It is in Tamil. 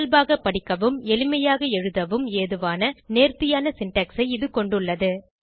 இயல்பாக படிக்கவும் எளிமையாக எழுதவும் ஏதுவான நேர்த்தியான சின்டாக்ஸ் ஐ இது கொண்டுள்ளது